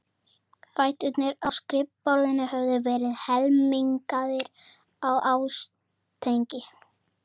Fæturnir á skrifborðinu höfðu verið helmingaðir af ásetningi.